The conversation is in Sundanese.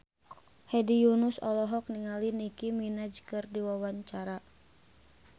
Hedi Yunus olohok ningali Nicky Minaj keur diwawancara